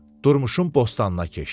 Durmuşun bostanına keçdi.